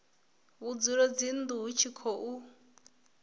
vhudzulo dzinnu hu tshi khou